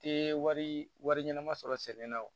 Tɛ wari wari ɲɛnama sɔrɔ sɛnɛ na wo